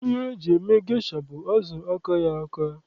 Ihe eji eme gesha bụ azụ akaghị aka.